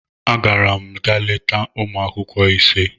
Agara m ga leta ụmụ akwụkwọ ise.